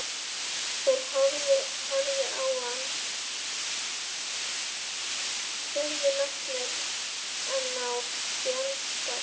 Þeir horfðu á hann furðu lostnir en án fjandskapar.